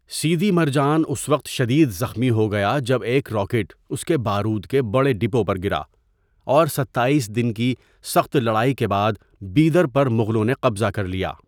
سیدی مرجان اس وقت شدید زخمی ہو گیا جب ایک راکٹ اس کے بارود کے بڑے ڈپو پر گرا اور ستائیس دن کی سخت لڑائی کے بعد بیدر پر مغلوں نے قبضہ کر لیا۔